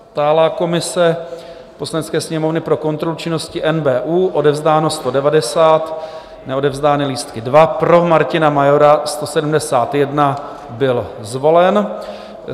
Stálá komise Poslanecké sněmovny pro kontrolu činnosti NBÚ - odevzdáno 190, neodevzdané lístky 2. Pro Martina Majora 171, byl zvolen.